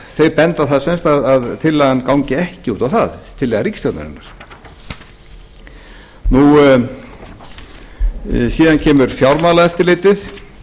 þau benda á það sem sagt að tillaga ríkisstjórnarinnar gangi ekki út á það síðan kemur fjármálaeftirlitið